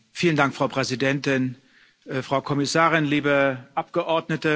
Frau Präsidentin, Frau Kommissarin, liebe Abgeordnete!